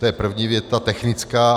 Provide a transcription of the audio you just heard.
To je první věta technická.